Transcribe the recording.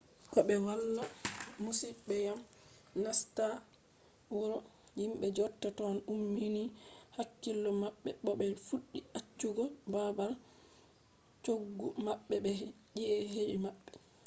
ko be wala masibo dyam nasta wuro himbe jodata ton ummini hakkilo mabbe bo be fuddi accugo babal choggu mabbe be chi’eji mabbe